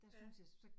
Ja